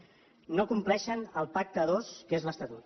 no compleixen el pacte a dos que és l’estatut